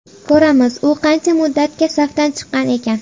Ko‘ramiz, u qancha muddatga safdan chiqqan ekan.